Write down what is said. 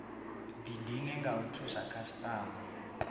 didine nga u thusa khasitama